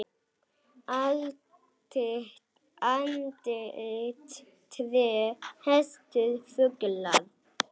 Andlit, tré, hestar, fuglar.